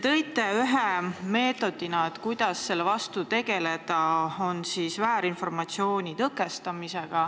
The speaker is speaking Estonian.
Te nimetasite ühe meetodina, kuidas selle vastu tegutseda, väärinformatsiooni tõkestamist.